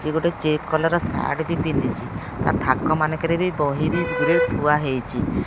ସିଏ ଗୋଟେ check collar ର ସାର୍ଟ ବି ପିନ୍ଧିଛି ତା ଥାକ ମାନଙ୍କରେ ରେ ବହି ବି ଗୁରେ ଥୁଆହେଇଚି।